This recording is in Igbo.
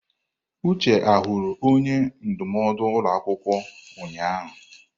Uche hụrụ onye ndụmọdụ ụlọ akwụkwọ ụnyahụ?